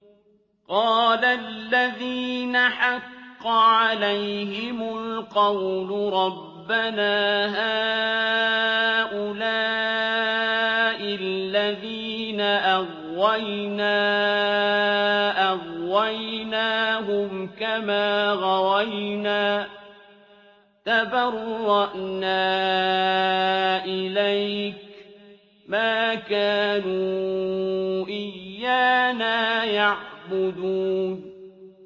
قَالَ الَّذِينَ حَقَّ عَلَيْهِمُ الْقَوْلُ رَبَّنَا هَٰؤُلَاءِ الَّذِينَ أَغْوَيْنَا أَغْوَيْنَاهُمْ كَمَا غَوَيْنَا ۖ تَبَرَّأْنَا إِلَيْكَ ۖ مَا كَانُوا إِيَّانَا يَعْبُدُونَ